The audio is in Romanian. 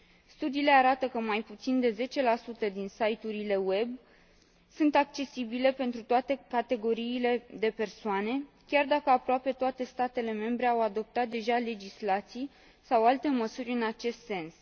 Studiile arată că mai puțin de 10 din site urile web sunt accesibile pentru toate categoriile de persoane, chiar dacă aproape toate statele membre au adoptat deja legislații sau alte măsuri în acest sens.